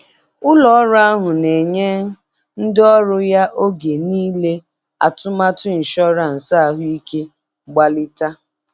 Ụlọ ọrụ ahụ na-enye ndị ọrụ ya oge niile atụmatụ ịnshọransị ahụike mgbalita.